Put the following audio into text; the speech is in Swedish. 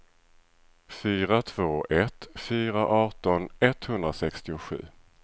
fyra två ett fyra arton etthundrasextiosju